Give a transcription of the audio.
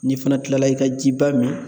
N'i fana tilala i ka jiba min